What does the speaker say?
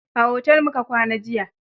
A otel mu ka kwana jiya